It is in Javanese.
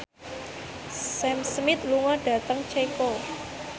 Sam Smith lunga dhateng Ceko